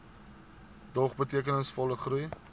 dog betekenisvolle groei